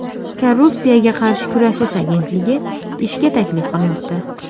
Korrupsiyaga qarshi kurashish agentligi ishga taklif qilmoqda.